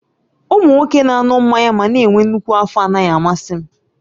Ụmụ nwoke na-aṅụ mmanya ma na-enwe nnukwu afọ anaghị amasị m